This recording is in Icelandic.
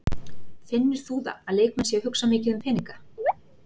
Finnur þú það að leikmenn séu að hugsa mikið um peninga?